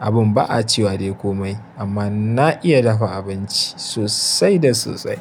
abin ba a cewa dai komai amma na iya dafa abinci sosai da sosai.